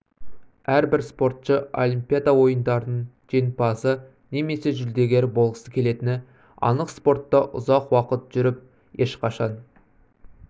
әрбір спортшы олимпиада ойындарының жеңімпазы немесе жүлдегері болғысы келетіні анық спортта ұзақ уақыт жүріп ешқашан